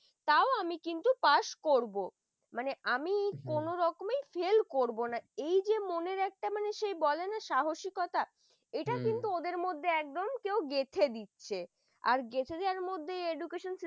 তাও আমি কিন্তু pass করব মানে আমি কোনরকম হম fail করব না এই যে মনের একটা বলে না সে সাহসিকতা হম এটা কিন্তু ওদের মধ্যে একদম কেউ গেঁথে দিচ্ছে। আর গেঁথে দেওয়ার মধ্যে education system